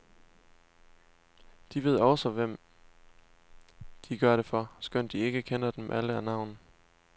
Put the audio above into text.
De ved også, hvem de gør det for, skønt de ikke kender dem alle af navn.